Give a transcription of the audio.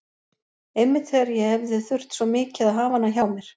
Einmitt þegar ég hefði þurft svo mikið að hafa hana hjá mér.